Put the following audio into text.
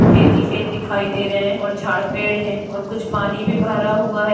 खेत ही खेत दिखाई दे रहे हैं और जाड़ पेड़ है और कुछ पानी भी भरा हुआ है।